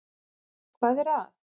Hann er að